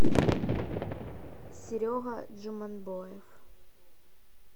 серега джуманбоев